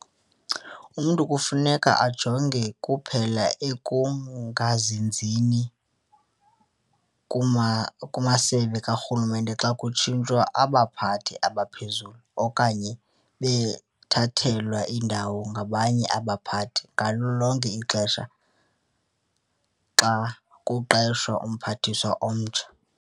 Umntu kufuneka ajonge kuphela ekungazinzini kumasebe karhulumente xa kutshintshwa abaphathi abaphezulu okanye bethathelwa indawo ngabanye abaphathi ngalo lonke ixesha xa kuqeshwa uMphathiswa omtsha.